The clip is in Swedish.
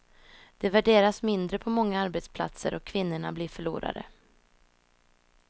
Det värderas mindre på många arbetsplatser, och kvinnorna blir förlorare.